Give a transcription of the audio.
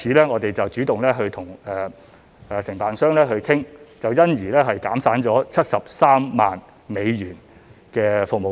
我們因而主動與承辦商商討，結果減省了73萬美元的服務費。